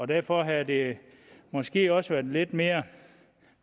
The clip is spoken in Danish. derfor havde det måske også været lidt mere